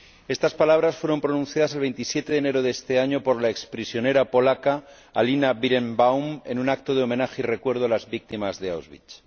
Estas palabras fueron pronunciadas el 27 de enero de este año por la exprisionera polaca Alina Birenbaum en un acto de homenaje y recuerdo a las víctimas de Auschwitz.